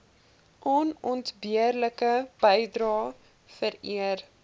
onontbeerlike bydrae vereer